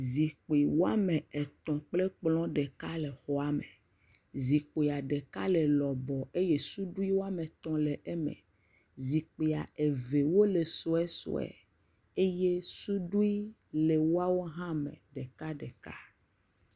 Zikpi woame tɔ̃ kple kplɔ̃ ɖeka le xɔa me. Zikpia ɖeka le lɔbɔɔ eye suɖui woame tɔ̃ le eme. Zikpia eve wole suesue. Eye sudui le woawo hã me ɖekaɖeka.